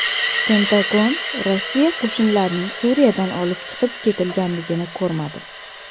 Pentagon Rossiya qo‘shinlarining Suriyadan olib chiqib ketilganligini ko‘rmadi.